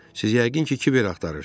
Siz yəqin ki, kiber axtarırsınız.